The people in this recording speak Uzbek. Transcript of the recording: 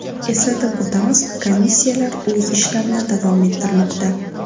Eslatib o‘tamiz, komissiyalar o‘z ishlarini davom ettirmoqda.